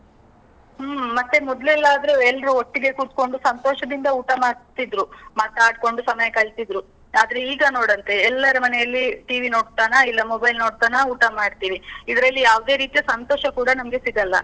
ಹ್ಮ್, ಮತ್ತೆ ಮೊದ್ಲೆಲ್ಲ ಆದ್ರೆ ಎಲ್ರೂ ಒಟ್ಟಿಗೇ ಕೂತ್ಕೊಂಡು ಸಂತೋಷದಿಂದ ಊಟ ಮಾಡ್ತಿದ್ರು, ಮಾತಾಡ್ಕೊಂಡು ಸಮಯ ಕಳೀತಿದ್ರು. ಆದ್ರೆ ಈಗ ನೋಡಂತೆ, ಎಲ್ಲರ ಮನೆಯಲ್ಲಿ TV ನೋಡ್ತಾನಾ, ಇಲ್ಲ mobile ನೋಡ್ತಾನಾ, ಊಟ ಮಾಡ್ತೀವಿ. ಇದ್ರಲ್ಲಿ ಯಾವ್ದೇ ರೀತಿಯ ಸಂತೋಷ ಕೂಡ ನಮ್ಗೆ ಸಿಗಲ್ಲ.